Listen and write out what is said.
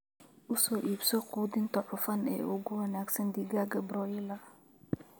U soo iibso quudinta cufan ee ugu wanaagsan digaagga broiler.